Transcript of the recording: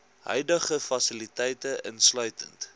huidige fasiliteite insluitend